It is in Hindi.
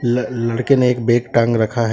ल लड़के ने एक बेग टांग रखा है।